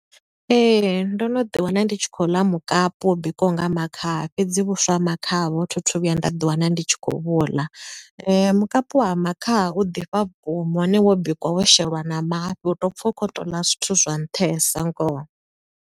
Ee, ndo no ḓi wana ndi tshi khou ḽa mukapu wo bikiwaho nga makhaha, fhedzi vhuswa ha makhaha vho thi thu vhuya nda ḓi wana ndi tshi khou vhu ḽa. Mukapu wa makhaha u ḓifha vhukuma, hone wo bikwa wo sheliwa na mafhi u to pfa u khou to u ḽa zwithu zwa nṱhesa ngoho.